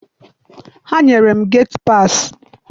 Ha nyere m geti paasị.